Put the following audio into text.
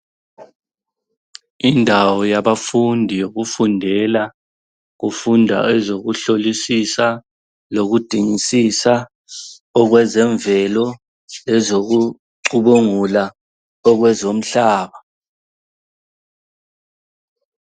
Indawo yabafundi yokufundela, kufunda ezokuhlolisisa, lokudingisisa okwezemvelo lezokucubungula okwezomhlaba.